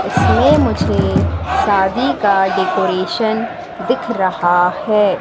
इसमें मुझे शादी का डेकोरेशन दिख रहा है।